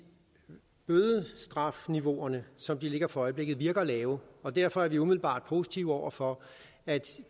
bødestrafniveauerne som de ligger for øjeblikket virker lave og derfor er vi umiddelbart positive over for at